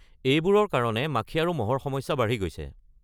এইবোৰৰ কাৰণে মাখি আৰু মহৰ সমস্যা বাঢ়ি গৈছে।